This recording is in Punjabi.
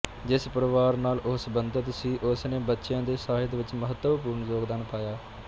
ਜਿਸ ਪਰਿਵਾਰ ਨਾਲ ਉਹ ਸਬੰਧਤ ਸੀ ਉਸ ਨੇ ਬੱਚਿਆਂ ਦੇ ਸਾਹਿਤ ਵਿਚ ਮਹੱਤਵਪੂਰਣ ਯੋਗਦਾਨ ਪਾਇਆ